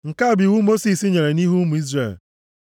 Nke a bụ iwu Mosis chere nʼihu ụmụ Izrel.